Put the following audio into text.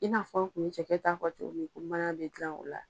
I n'a fɔ tun ye cɛkɛ ta fɔ cogo min ko mana bɛ dilan o la.